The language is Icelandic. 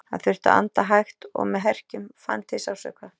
Hann þurfti að anda hægt og með herkjum, fann til sársauka.